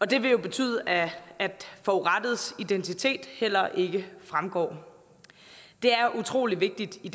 det vil jo betyde at forurettedes identitet heller ikke fremgår det er utrolig vigtigt i